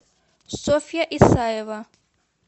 софья исаева